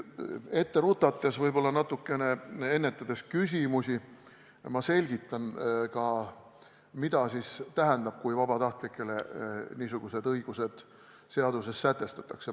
Ette rutates ja natukene ennetades küsimusi, ma selgitan ka, mida see tähendab, kui vabatahtlikele niisugused õigused seadusega sätestatakse.